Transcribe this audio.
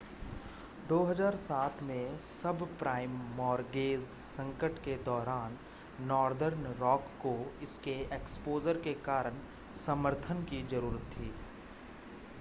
2007 में subprime mortgage संकट के दौरान नॉर्दर्न रॉक को इसके एक्सपोज़र के कारण समर्थन की ज़रूरत थी